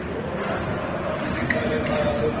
kwisixaka xaka sodaba